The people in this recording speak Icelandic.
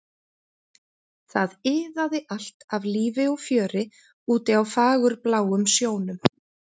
Það iðaði allt af lífi og fjöri úti á fagurbláum sjónum.